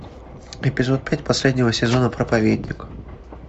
эпизод пять последнего сезона проповедник